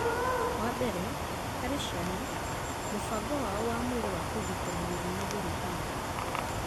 Wa mbere, harĩ ciana, mũbango wao wa mwĩrĩ wa kũgitĩra mĩrimũ ndũrĩ hinya.